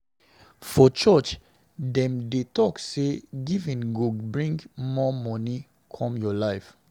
For church, dem dey talk say giving go bring more money come your life.